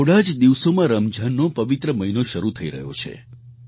થોડા જ દિવસોમાં રમજાનનો પવિત્ર મહિનો શરૂ થઈ રહ્યો છે